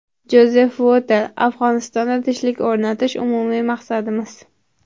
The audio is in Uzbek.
Jozef Votel: Afg‘onistonda tinchlik o‘rnatish – umumiy maqsadimiz.